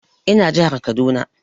Ina jihar Kaduna